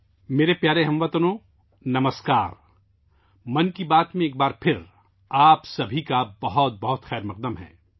میرے پیارے ہم وطنوں کو نمسکار ! ایک بار پھر، 'من کی بات' میں آپ کا بہت بہت خیر مقدم ہے